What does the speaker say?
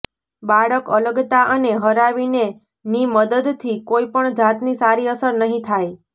બાળક અલગતા અને હરાવીને ની મદદથી કોઈ પણ જાતની સારી અસર નહીં થાય